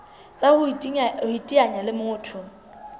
tsa ho iteanya le motho